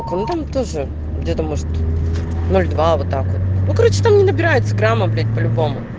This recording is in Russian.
тоже где-то может но два вот так вот ну короче там не набирается грамм облить по-любому